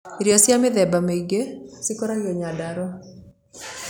Irio cia mĩthemba mĩingi cikũragio Nyandarũa